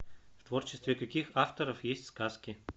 в творчестве каких авторов есть сказки